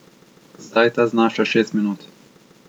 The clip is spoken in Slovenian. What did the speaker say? Zdaj ta znaša šest minut.